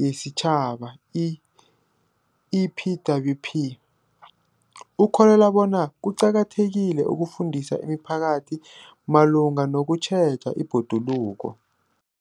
yesiTjhaba, i-EPWP, ukholelwa bona kuqakathekile ukufundisa imiphakathi malungana nokutjheja ibhoduluko.